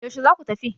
yaushe za ku tafi?